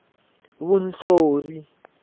vunhlori